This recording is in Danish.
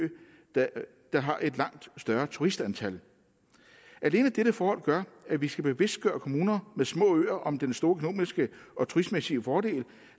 der der har et langt større turistantal alene dette forhold gør at vi skal bevidstgøre kommuner med små øer om den store økonomiske og turistmæssige fordel